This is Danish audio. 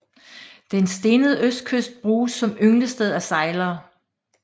Den stenede østkyst bruges som ynglested af sejlere